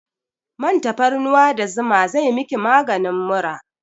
Man tafarnuwa da zuma zai miki maganin mura